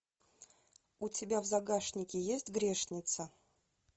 у тебя в загашнике есть грешница